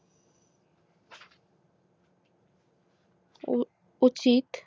উচিত